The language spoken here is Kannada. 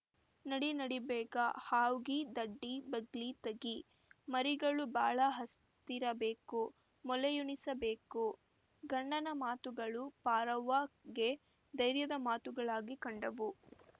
ನಡಿ ನಡಿ ಬೇಗ ಹ್ವಾಗಿ ದಡ್ಡಿ ಬಾಗ್ಲಿ ತಗಿಮರಿಗಳು ಬಾಳ ಹಸ್ತಿರಬೇಕು ಮೊಲೆಯುಣಿಸಬೇಕು ಗಂಡನ ಮಾತುಗಳು ಪಾರವ್ವ ಗೆ ಧೈರ್ಯದ ಮಾತುಗಳಾಗಿ ಕಂಡವು